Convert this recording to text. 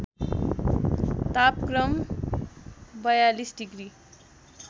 तापक्रम ४२ डिग्री